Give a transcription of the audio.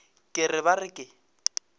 ke re ba re ke